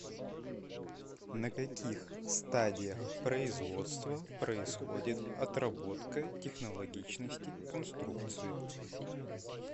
на каких стадиях производства происходит отработка технологичности конструкции